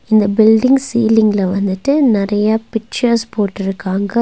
இந்த பில்டிங் சீலிங்ல வந்துட்டு நறையா பிச்சர்ஸ் போட்டுருக்காங்க.